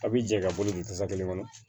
A bi jɛ ka bolo don tasa kelen kɔnɔ